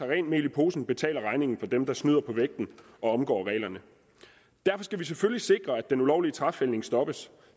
rent mel i posen betaler regningen for dem der snyder på vægten og omgår reglerne derfor skal vi selvfølgelig sikre at den ulovlige træfældning stopper